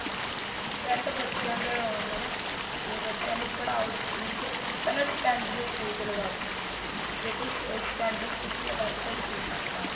ਪਹਿਲਾਂ ਬੱਚਿਆ ਇਹ ਹੁੰਦਾ ਨਾ ਵੀ ਬੱਚਿਆ ਨੂੰ ਪੜਾਓ school ਚ ਪਹਿਲਾਂ standard ਦੇ school ਚ ਲਗਾਹੋ ਜ਼ੇ ਕੋਈ standard ਦੇ school ਚ ਲਗਾਦੋ ਤਾਂ ਉਹਦੀਆਂ ਫ਼ੀਸਾਂ ਨਹੀਂ ਮਾਣ